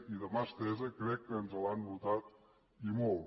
i de mà estesa crec que ens l’han notat i molt